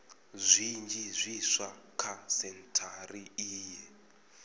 zwinzhi zwiswa kha sentshari iyi